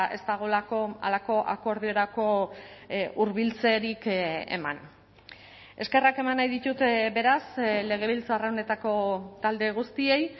ez dagoelako halako akordiorako hurbiltzerik eman eskerrak eman nahi ditut beraz legebiltzar honetako talde guztiei